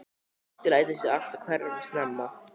Addi lætur sig alltaf hverfa snemma.